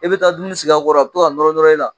E bɛ taa dumuni sigi a kɔrɔ a bɛ to ka nɔrɔ nɔrɔ e la